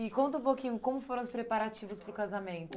E conta um pouquinho, como foram os preparativos para o casamento?